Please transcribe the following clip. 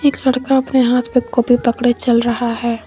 एक लड़का अपने हाथ में कॉपी पकड़े चल रहा है।